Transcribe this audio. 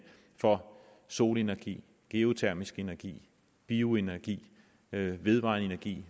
for solenergi geotermisk energi bioenergi vedvarende energi